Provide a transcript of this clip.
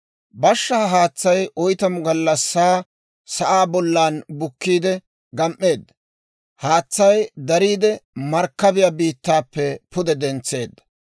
Bashshaa haatsay oytamu gallassaa sa'aa bollan bukkiidde gam"eedda; haatsay dariide, markkabiyaa biittappe pude dentseedda.